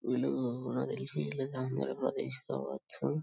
వీళ్ళు నాకు తెలిసి వీలైతే ఆంధ్రప్రదేశ్ కావచ్చు.